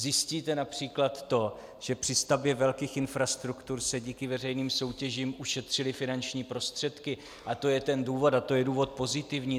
Zjistíte například to, že při stavbě velkých infrastruktur se díky veřejným soutěžím ušetřily finanční prostředky, a to je ten důvod a to je důvod pozitivní.